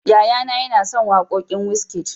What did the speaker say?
Yaya na ya na sauraron waƙan Wizkid